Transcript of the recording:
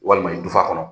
Walima dufa kɔnɔ